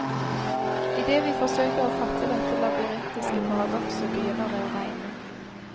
Idet vi forsøker å fatte dette labyrintiske paradokset, begynner det å regne.